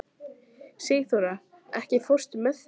Sigþóra, ekki fórstu með þeim?